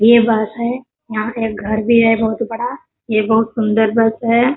ये बस है यहाँ पे एक घर भी है बहोत बड़ा ये बहोत सुंदर बस है।